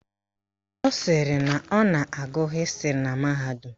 Ọ sịrị na ọ na-agụ Hịstịrị na mahadum